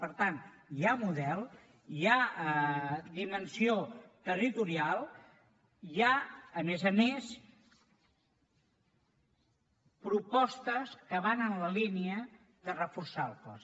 per tant hi ha model hi ha dimensió territorial i hi ha a més a més propostes que van en la línia de reforçar el cos